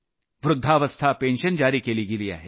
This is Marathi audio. वृद्धावस्था पेन्शन जारी केली गेली आहे